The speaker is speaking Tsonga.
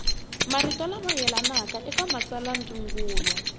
marito lama yelanaka eka matsalwandzungulo